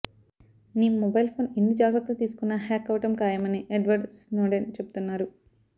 మీ mobile phone ఎన్ని జాగ్రత్తలు తీసుకున్న హ్యాక్ అవడం ఖాయమని ఎడ్వర్డ్ స్నోడెన్ చెబుతున్నారు